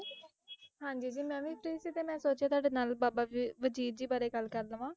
ਹਾਂਜੀ ਜੀ ਮੈਂ ਵੀ free ਸੀ ਅਤੇ ਮੈਂ ਸੋਚਿਆ ਤੁਹਾਡੇ ਨਾਲ ਬਾਬਾ ਵ~ ਵਜੀਦ ਜੀ ਬਾਰੇ ਗੱਲ ਕਰ ਲਵਾਂ,